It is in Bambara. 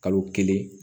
Kalo kelen